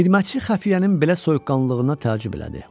Xidmətçi xəfiyyənin belə soyuqqanlılığına təəccüb elədi.